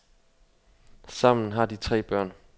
Sammen har de tre børn.